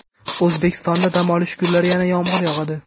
O‘zbekistonda dam olish kunlari yana yomg‘ir yog‘adi.